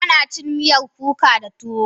Ana cin miyar kuka da tuwo.